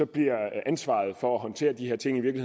bliver ansvaret for at håndtere de her ting i